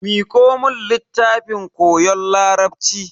Miko mun littafin koyon larabci.